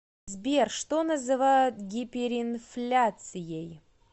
сбер что называют гиперинфляцией